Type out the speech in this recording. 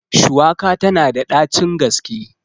Shuwaka tana da ɗacin gaske.